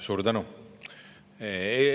Suur tänu!